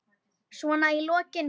Svona í lokin.